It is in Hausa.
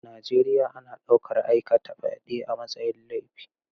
A Najeriya ana ɗaukar aikata fyade a matsayin laifi.